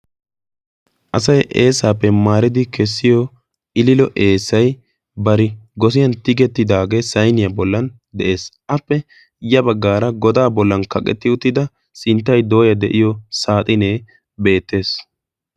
asay eesaappe maaridi kessiyo iliilo eesai bari gosiyan tigettidaagee sayniyaa bollan de'ees. appe ya baggaara godaa bollan kaqetti uttida sinttay dooya de'iyo saaxinee beettees.